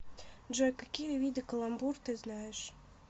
джой какие виды каламбур ты знаешь